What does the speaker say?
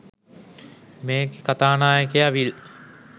මේකෙ කතානායකයා විල්